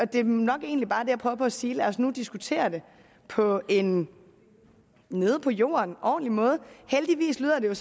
det er nok egentlig bare det på at sige lad os nu diskutere det på en nede på jorden ordentlig måde heldigvis lyder det